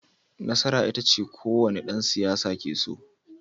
Nasara ita ce kowane dan siyasa ke so